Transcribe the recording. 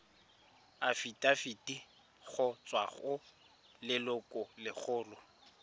afitafiti go tswa go lelokolegolo